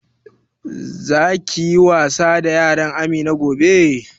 Za ka yi wasa da yaran Amina gobe?